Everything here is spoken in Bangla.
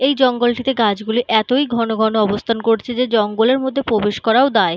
এই জঙ্গলটিতে গাছগুলি এতই ঘনঘন অবস্থান করছে যে জঙ্গলের মধ্যে প্রবেশ করাও দায়।